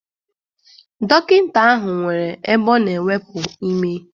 Dọkịnta ahụ nwere ebe a na-ewepu ime.